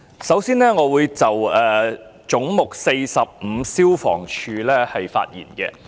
首先，我會就"總目 45― 消防處"發言。